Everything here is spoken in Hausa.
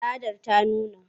Tsadar ta nuna.